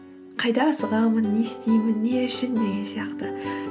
қайда асығамын не істеймін не үшін деген сияқты